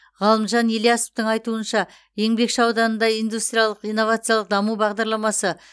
ғалымжан ильясовтың айтуынша еңбекші ауданында индустриялық инновациялық даму бағдарламасы